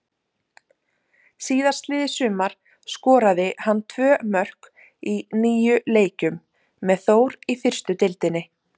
Síðastliðið sumar skoraði hann tvö mörk í níu leikjum með Þór í fyrstu deildinni.